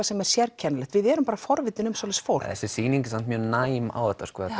sem er sérkennilegt við erum bara forvitin um svoleiðis fólk þessi sýning er samt mjög næm á þetta